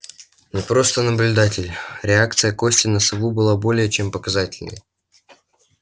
не просто наблюдатель реакция кости на сову была более чем показательной